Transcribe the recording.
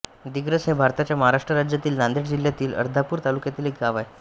दिग्रस हे भारताच्या महाराष्ट्र राज्यातील नांदेड जिल्ह्यातील अर्धापूर तालुक्यातील एक गाव आहे